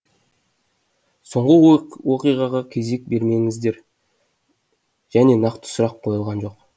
соңғы оқиғаға кезек бермедіңіздер және нақты сұрақ қойылған жоқ